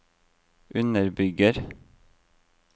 underbygger